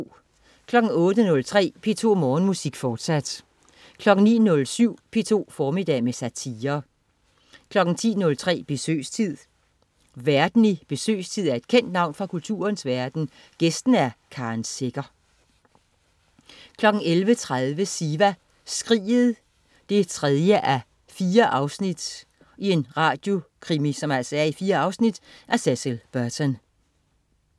08.03 P2 Morgenmusik, fortsat 09.07 P2 formiddag med satire 10.03 Besøgstid. Værten i "Besøgstid" er et kendt navn fra kulturens verden, gæsten er Karen Secher 11.30 Siva Skriget 3:4. En radiokrimi i fire afsnit af Cecil Burton